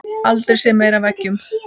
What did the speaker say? Aldrei séð meira af eggjum